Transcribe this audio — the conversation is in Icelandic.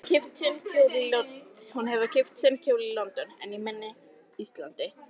Hún hafði keypt sinn kjól í London, en ég minn á Íslandi.